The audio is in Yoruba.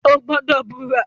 O gbọdọ bura!